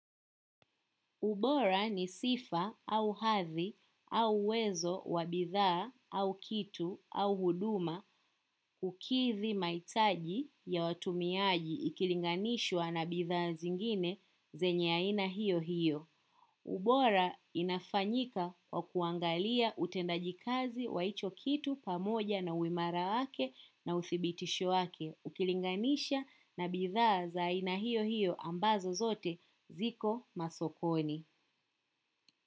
Ubora ni sifa au hathi au uwezo wa bidhaa au kitu au huduma kukidhi mahitaji ya watumiaji ikilinganishwa na bidhaa zingine zenye aina hiyo hiyo. Ubora inafanyika kwa kuangalia utendaji kazi wa hicho kitu pamoja na uimara wake na uthibitisho wake. Ukilinganisha na bidhaa za aina hiyo hiyo ambazo zote ziko masokoni.